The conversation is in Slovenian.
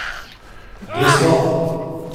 Desno!